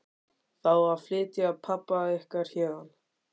Það á að flytja pabba ykkar héðan.